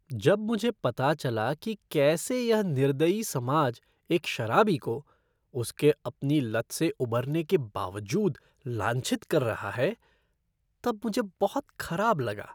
जब मुझे पता चला कि कैसे यह निर्दयी समाज एक शराबी को, उसके अपनी लत से उबरने के बावजूद, लांछित कर रहा है, तब मुझे बहुत खराब लगा।